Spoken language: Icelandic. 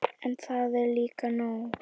En það er líka nóg.